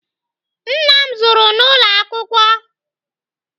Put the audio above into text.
Nna m zụrụ n'ụlọ akwụkwọ.